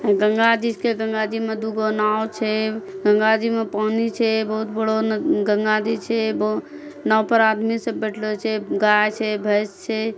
गंगा जी छकै। गंगा जी म दुगो नाव छे। गंगा जी म पानी छे बोहोत बड़ो न गंगा जी छे। ब नाव पर आदमी सब बेठलो छे। गाय छे भैंस छे।